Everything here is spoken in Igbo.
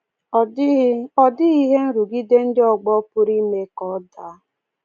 Ọ dịghị Ọ dịghị ihe nrụgide ndị ọgbọ pụrụ ime ka ọ daa.